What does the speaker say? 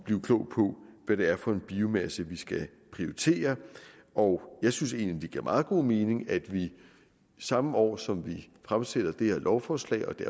blive klog på hvad det er for en biomasse vi skal prioritere og jeg synes egentlig det giver meget god mening at vi samme år som vi fremsætter det her lovforslag og det